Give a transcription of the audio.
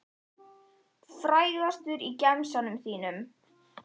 Frægastur í gemsanum þínum?